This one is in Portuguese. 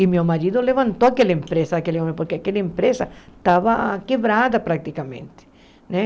E meu marido levantou aquela empresa, aquele homem, porque aquela empresa estava quebrada praticamente, né?